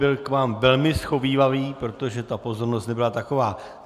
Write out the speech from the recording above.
Byl k vám velmi shovívavý, protože ta pozornost nebyla taková.